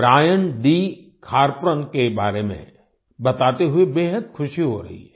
Kharpran Brian D Kharpran के बारे में बताते हुए बेहद खुशी हो रही है